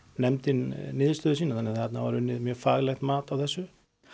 nefndin niðurstöðu sína þannig að þarna var unnið mjög faglegt mat á þessu